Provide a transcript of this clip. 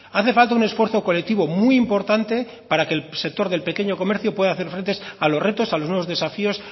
hace falta un esfuerzo colectivo muy importante para que el sector del pequeño comercio pueda hacer frente a los retos a los nuevos desafíos